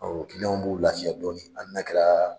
Ɔ dunanw b'u lafiya dɔɔnin hali n'a kɛra